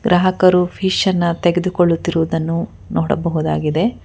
ಗ್ರಾಹಕರು ಫಿಶ್ ಅನ್ನ ತೆಗೆದುಕೊಳ್ಳುತ್ತಿರುವುದನ್ನು ನೋಡಬಹುದಾಗಿದೆ.